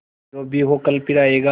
जो भी हो कल फिर आएगा